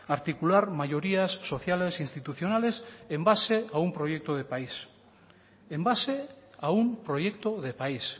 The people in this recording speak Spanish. articular mayorías sociales institucionales en base a un proyecto de país en base a un proyecto de país